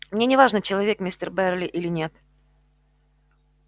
мне не важно человек мистер байерли или нет